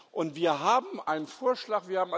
Und wir haben einen Vorschlag.